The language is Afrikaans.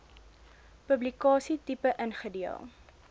publikasie tipe ingedeel